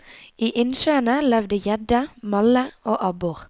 I innsjøene levde gjedde, malle og abbor.